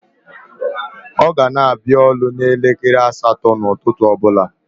O gana abia oru n'elekere asato ututu obula